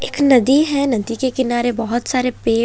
एक नदी है नदी के किनारे बहुत सारे पेड--